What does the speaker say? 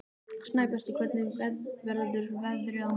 Snæbjartur, hvernig verður veðrið á morgun?